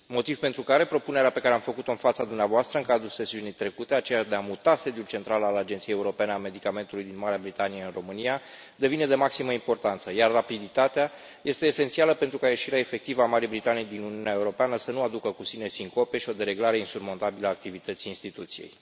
Motiv pentru care propunerea pe care am făcut o în fața dumneavoastră în cadrul sesiunii trecute, aceea de a muta sediul central al Agenției Europene a Medicamentelor din Marea Britanie în România, devine de maximă importanță, iar rapiditatea este esențială pentru ca ieșirea efectivă a Marii Britanii din Uniunea Europeană să nu aducă cu sine sincope și o dereglare insurmontabilă a activității instituției.